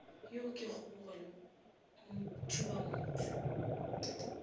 yo ke kgobogo le thubamotse